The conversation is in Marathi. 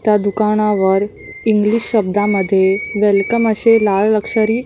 त्या दुकानावर इंग्लिश शब्दामध्ये वेलकम असे लाल अक्षरी --